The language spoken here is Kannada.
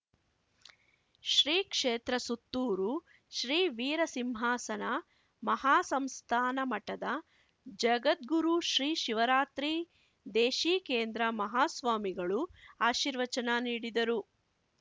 ಶ್ರೀಕ್ಷೇತ್ರ ಸುತ್ತೂರು ಶ್ರೀ ವೀರ ಸಿಂಹಾಸನ ಮಹಾಸಂಸ್ಥಾನ ಮಠದ ಜಗದ್ಗುರು ಶ್ರೀ ಶಿವರಾತ್ರೀ ದೇಶಿಕೇಂದ್ರ ಮಹಾಸ್ವಾಮಿಗಳು ಆಶೀರ್ವಚನ ನೀಡಿದರು